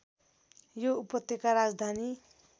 यो उपत्यका राजधानी